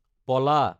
পলা